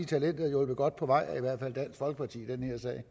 talentet er hjulpet godt på vej af i hvert fald dansk folkeparti i den her sag